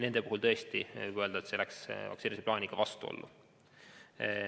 Nende puhul võib tõesti öelda, et see läks vaktsineerimise plaaniga vastuollu.